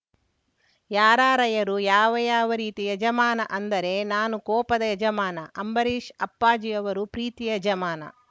ಯಾರಾರ‍ಯರು ಯಾವ ಯಾವ ರೀತಿ ಯಜಮಾನ ಅಂದರೆ ನಾನು ಕೋಪದ ಯಜಮಾನ ಅಂಬರೀಶ್‌ ಅಪ್ಪಾಜಿ ಅವರು ಪ್ರೀತಿಯ ಯಜಮಾನ